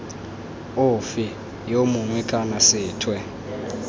ofe yo mongwe kana sethwe